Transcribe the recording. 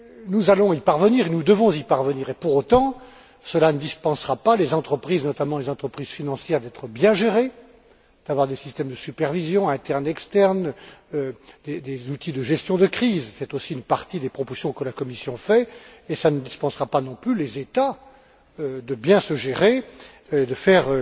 Nous allons y parvenir, nous devons y parvenir et, pour autant, cela ne dispensera pas les entreprises, notamment les entreprises financières, d'être bien gérées, d'avoir des systèmes de supervision, internes et externes, des outils de gestion de crise c'est aussi une partie des propositions que la Commission fait et cela ne dispensera pas non plus les États de bien se gérer et de faire